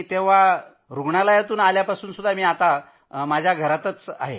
तेव्हा आल्यापासून मी माझ्या घरातच आहे